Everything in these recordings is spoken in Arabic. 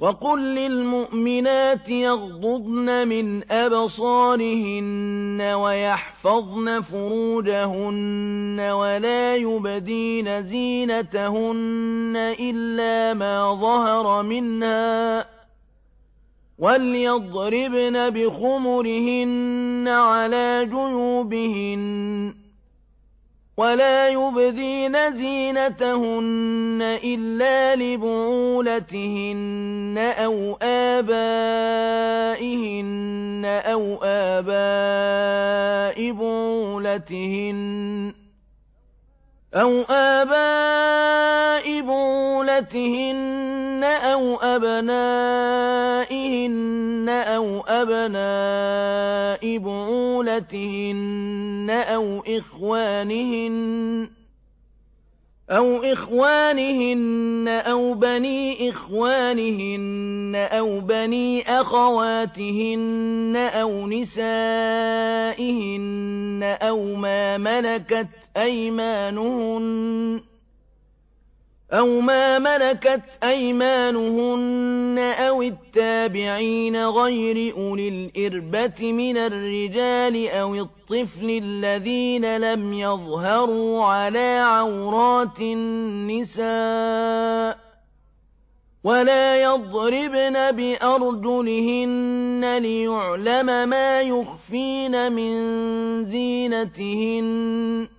وَقُل لِّلْمُؤْمِنَاتِ يَغْضُضْنَ مِنْ أَبْصَارِهِنَّ وَيَحْفَظْنَ فُرُوجَهُنَّ وَلَا يُبْدِينَ زِينَتَهُنَّ إِلَّا مَا ظَهَرَ مِنْهَا ۖ وَلْيَضْرِبْنَ بِخُمُرِهِنَّ عَلَىٰ جُيُوبِهِنَّ ۖ وَلَا يُبْدِينَ زِينَتَهُنَّ إِلَّا لِبُعُولَتِهِنَّ أَوْ آبَائِهِنَّ أَوْ آبَاءِ بُعُولَتِهِنَّ أَوْ أَبْنَائِهِنَّ أَوْ أَبْنَاءِ بُعُولَتِهِنَّ أَوْ إِخْوَانِهِنَّ أَوْ بَنِي إِخْوَانِهِنَّ أَوْ بَنِي أَخَوَاتِهِنَّ أَوْ نِسَائِهِنَّ أَوْ مَا مَلَكَتْ أَيْمَانُهُنَّ أَوِ التَّابِعِينَ غَيْرِ أُولِي الْإِرْبَةِ مِنَ الرِّجَالِ أَوِ الطِّفْلِ الَّذِينَ لَمْ يَظْهَرُوا عَلَىٰ عَوْرَاتِ النِّسَاءِ ۖ وَلَا يَضْرِبْنَ بِأَرْجُلِهِنَّ لِيُعْلَمَ مَا يُخْفِينَ مِن زِينَتِهِنَّ ۚ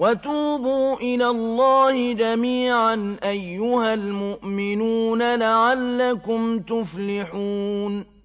وَتُوبُوا إِلَى اللَّهِ جَمِيعًا أَيُّهَ الْمُؤْمِنُونَ لَعَلَّكُمْ تُفْلِحُونَ